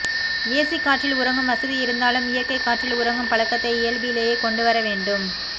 AC காற்றில் உறங்கும் வசதி இருந்தாலும் இயற்கை காற்றில் உறங்கும் பழக்கத்தை இயல்பிலேயே கொண்டு வர வேண்டும்